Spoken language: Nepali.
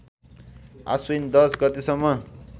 आश्विन १० गतेसम्म